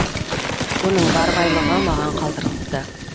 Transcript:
оның бар байлығы маған қалдырылыпты